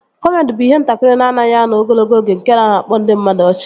Kọmedi bụ ihe nkiri na-anaghị anọ ogologo oge nke na-akpa ndị mmadụ ọchị